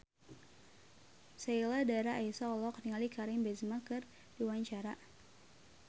Sheila Dara Aisha olohok ningali Karim Benzema keur diwawancara